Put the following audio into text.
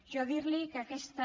jo dir li que aquesta